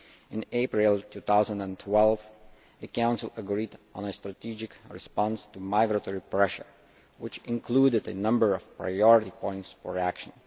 In April 2012 the Council agreed on a strategic response to migratory pressure, which included a number of priority points for action.